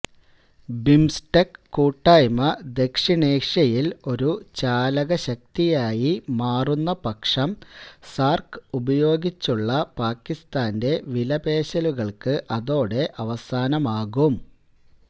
BIMSTEC കൂട്ടായ്മ ദക്ഷിണേഷ്യയില് ഒരു ചാലകശക്തിയായി മാറുന്നപക്ഷം സാര്ക്ക് ഉപയോഗിച്ചുള്ള പാകിസ്ഥാന്റെ വിലപേശലുകള്ക്ക് അതോടെ അവസാനമാകും